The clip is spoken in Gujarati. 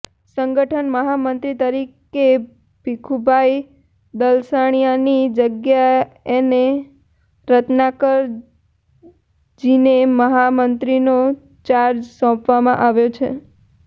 સંગઠન મહામંત્રી તરીકે ભીખુભાઇ દલસાણીયાની જગ્યાએને રત્નાકર જીને મહામંત્રીનો ચાર્જ સોંપવામાં આવ્યો છે